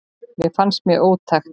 Það fannst mér ótækt.